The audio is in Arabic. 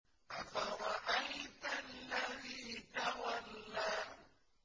أَفَرَأَيْتَ الَّذِي تَوَلَّىٰ